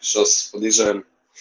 сейчас подъезжаем